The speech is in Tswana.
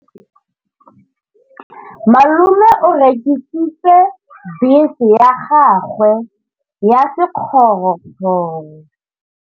Malome o rekisitse bese ya gagwe ya sekgorokgoro.